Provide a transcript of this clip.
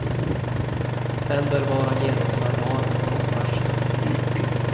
Den bör vara genomförbar med kort varsel.